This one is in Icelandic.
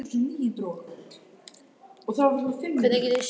Það er ekki spurt um neitt.